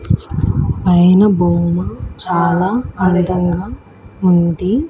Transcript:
పైన బోర్డ్ చాలా అందంగా ఉంది.